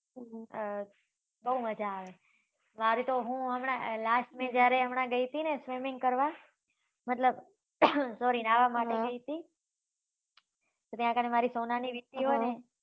અમ બહુ મજા આવે અમારે તો હું હમણાં last મે જ્યારે હું હમણા ગઈ હતી ને swimming કરવા મતલબ sorry ન્હાવા માટે ગઈ હતી ત્યા કને મારી સોનાની વીટીં હોય ને